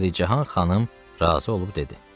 Pəricahan xanım razı olub dedi.